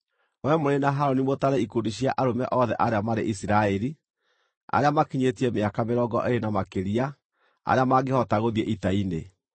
Wee mũrĩ na Harũni mũtare ikundi cia arũme othe arĩa marĩ Isiraeli, arĩa makinyĩtie mĩaka mĩrongo ĩĩrĩ na makĩria, arĩa mangĩhota gũthiĩ ita-inĩ.